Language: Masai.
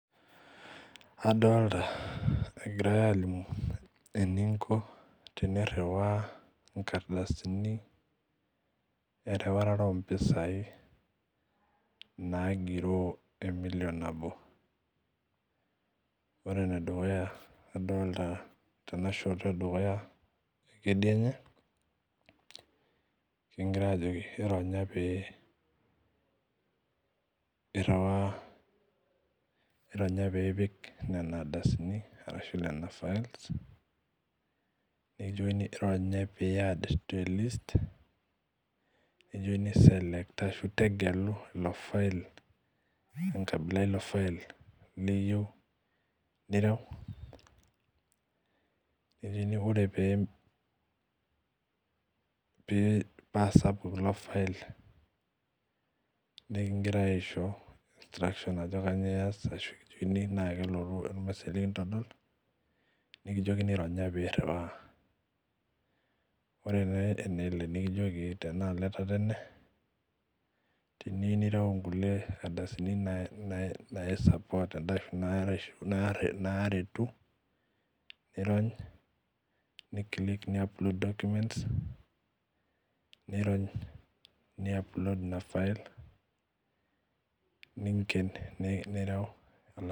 Adolta egirae alimu eninko teniriwaa inkardasini eriwaroto ompisai nagiroo emilion nabo . Ore enedukuya adolta tenashoto edukuya ekedianye kingirae ajoki ironya pee iriwaa ironya piipik nenardasini, netii ironya pee iad telist nikijokini iselctor ashu tegelu enkarna ilofile niyieu nireu , nikijoki ore paa sapuk ilofile nekingirae aisho instructions ashu nikijoki ironya pee iriwaa . Ore tenaalo etatene nikijoki teniyieu nireu nkulie ardasini naisupport ashu naretu nirony niclick niadd onkulie documents, nirony niapload inafile , ninkien nireu.